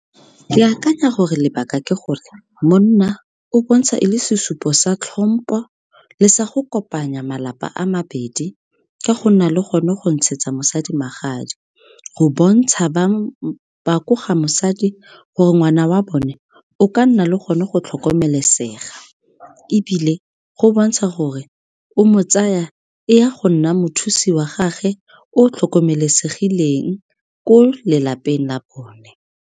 Ke akanya gore lebaka ke gore, monna o bontsha e le sesupo sa tlhompo le sa go kopanya malapa a mabedi, ka go nna le gone go ntshetsa mosadi magadi. Go bontsha ba ko ga mosadi, gore ngwana wa bone o ka nna le gone go tlhokomelesega, ebile go bontsha gore o mo tsaya e ya go nna mothusi wa gagwe, o tlhokomelesegileng ko lelapeng la bone.